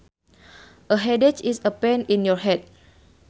A headache is a pain in your head